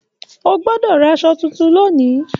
O gbọdọ rà aṣọ títún lónì!